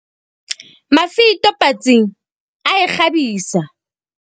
Mafito patsing ae kgabisa.